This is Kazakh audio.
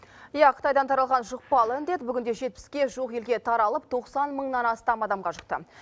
иә қытайдан таралған жұқпалы індет бүгінде жетпіске жуық елге таралып тоқсан мыңнан астам адамға жұқты